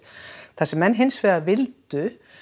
það sem menn hins vegar vildu